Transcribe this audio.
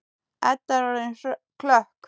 Edda er orðin klökk.